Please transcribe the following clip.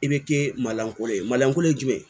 I bɛ kɛ malankolon ye malanko ye jumɛn ye